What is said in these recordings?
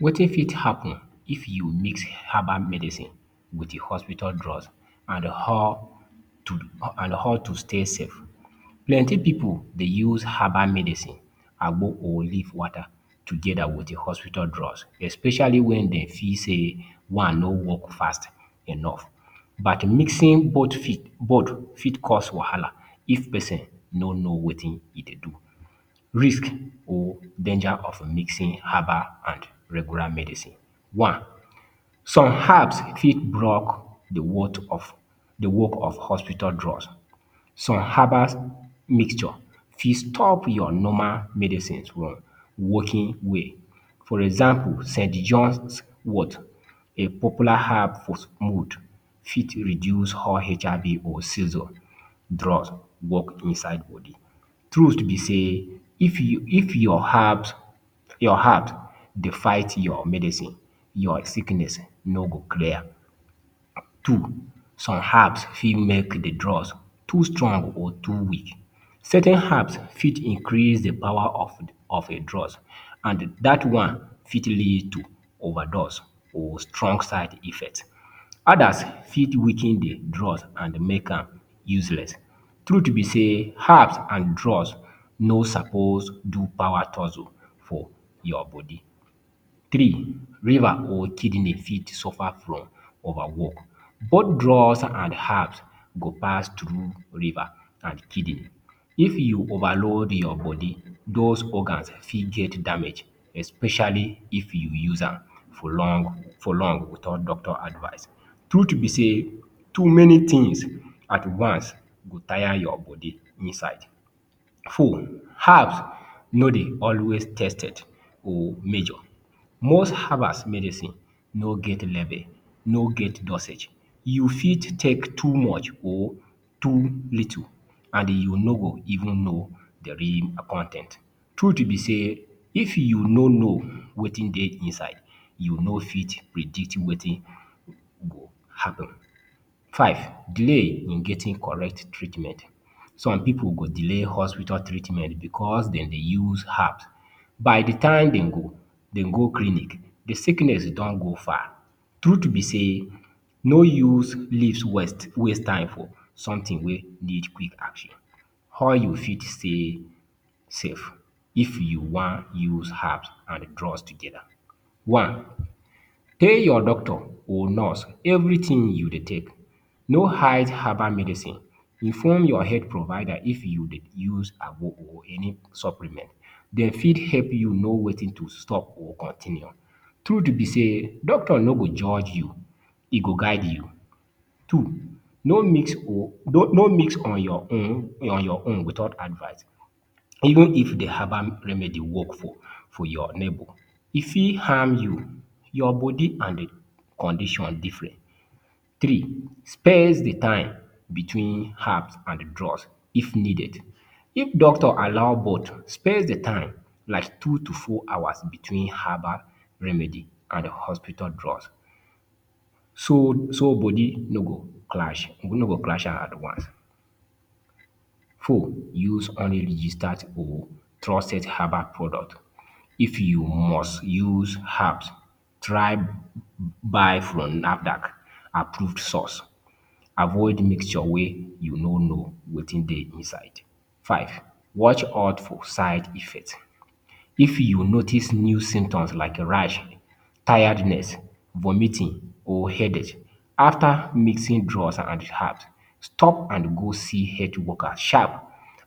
Wetin Fit Happen If You Mix Herbal Medicine With Hospital Drug — And How to Stay Safe Plenty pipu dey use herbal medicine, agbo or leaf water together with hospital drug especially when dey feel say one no work fast enough. But, mixing both fit cause wahala if pesin no know wetin e dey do.? Risk or Danger of Mixing Herbal and Regular Medicine One, some herb fit block the work of hospital drugs. Some herbal mixture fit stop your normal medicine from working well. For example, St John Wort, a popular herb for, fit reduce how HIV or season drug work inside body. Truth be say, if your herb dey fight your medicine, your sickness no go clear. Two, some herbs fit make the drug too strong or too weak. Certain herbs fit increase the power of a drug and that one fit lead to overdose or strong side effects. Others fit weaken the drug and make am useless. Truth be say, herbs and drugs no suppose do power tussle for your body. Three, liver or kidney fit dey suffer from overwork. Both drugs and herbs go pass through liver and kidney. If you overload your body, those organs fit get damage especially if you use am for long without doctor’s advise. Truth be say, too many things advance go tire your body inside. Four, herbs no dey always tested or measured. Most herbal medicines no get label, no get dosage. You fit take too much or too little and you no go even know the real con ten t. Truth be say, if you no know wetin dey inside, you no fit predict wetin go happen. Five, delay in getting correct treatment. Some pipu go delay hospital treatment because dem dey use herbs. By the time dem go clinic, the sickness don go far. The truth be say, no use waste time for something wey need quick action.? How You Fit Stay Safe If You Wan Use Herbs and Drugs Together One, tell your doctor or nurse everything you dey take. No hide herbal medicine. Inform your health provider if you dey use agbo or any supplements. Dey fit help you know wetin to stop or continue. Truth be say, doctor no go judge you — e go guide you. Two, no mix on your own without advise. Even if the herbal medicine work for your neighbor, e fit harm you. Your body and the condition different. Three, space the time between herbs and drugs if needed. If doctor allows, space the time like two to four hours between herbal remedy and hospital drugs, so body no go clash at once. Four, use only registered or trusted herbal product. If you must use herbs, try buy from NAFDAC-approved source. Avoid mixture wey you no know wetin dey inside. Five, watch out for side effects. If you notice new symptoms like rash, tiredness, vomiting or headache after mixing drugs and herbs — stop and go see health worker sharp.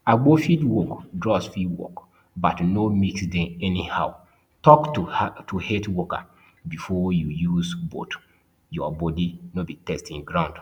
Agbo fit work. Drugs fit work. But no mix dem anyhow. Talk to health worker before you use both — your body no be testing ground.